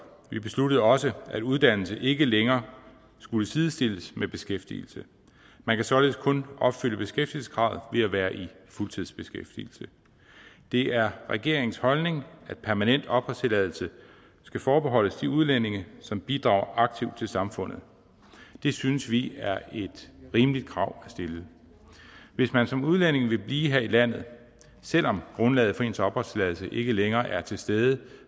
vi besluttede også at uddannelse ikke længere skulle sidestilles med beskæftigelse man kan således kun opfylde beskæftigelseskravet ved at være i fuldtidsbeskæftigelse det er regeringens holdning at permanent opholdstilladelse skal forbeholdes de udlændinge som bidrager aktivt til samfundet det synes vi er et rimeligt krav at stille hvis man som udlænding vil blive her i landet selv om grundlaget for ens opholdstilladelse ikke længere er til stede